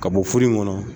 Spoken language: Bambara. Ka bɔ foro in kɔnɔ